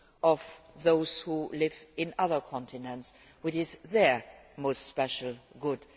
of those who live in other continents, which is their most special good.